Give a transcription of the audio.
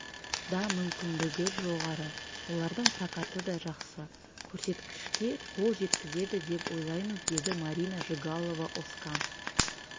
да мүмкіндігі жоғары олардың прокаты да жақсы көрсеткішке қол жеткізеді деп ойлаймыз деді марина жигалова-озкан